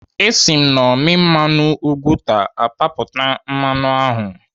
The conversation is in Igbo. Esi m n'ọmị mmanụ ugwuta apapụta mmanụ ahụ.